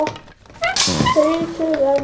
Þrír tugir manna.